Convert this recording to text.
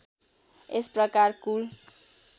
यस प्रकार कुल